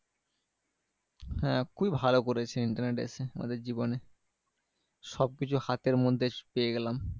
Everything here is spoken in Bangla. হ্যাঁ খুবই ভালো করেছে internet এসে আমাদের জীবনে। সবকিছু হাতের মধ্যে পেয়ে গেলাম।